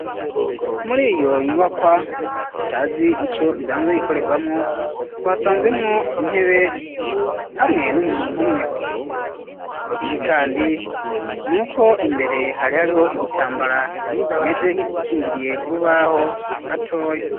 Muri iyo nyubakwa tutazi ico isanzwe ikorerwamwo twasanzemwo intebe hamwe n'umuntu umwe ikindi kandi nuko imbere hari hariho igitambara kimeze nk'igikingiriye urubaho gatoya.